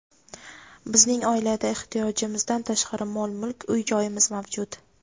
Bizning oilada ehtiyojimizdan tashqari mol-mulk, uy-joyimiz mavjud.